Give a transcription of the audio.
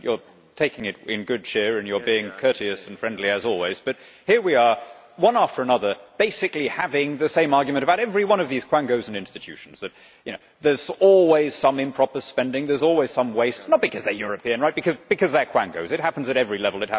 You are taking it in good cheer and you are being courteous and friendly, as always, but here we are, one after another, basically having the same argument about every one of these quangos and institutions. There is always some improper spending, there is always some waste not because they are European but because they are quangos. It happens at every level.